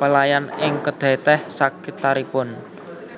pelayan ing kedai teh sakitaripun